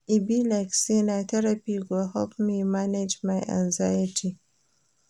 E be like sey na therapy go help me manage my anxiety.